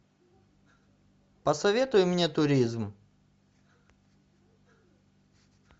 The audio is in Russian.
посоветуй мне туризм